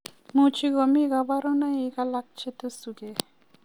Much komi kabarunoikab alak che tesu gee